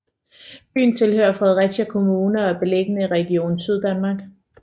Byen tilhører Fredericia Kommune og er beliggende i Region Syddanmark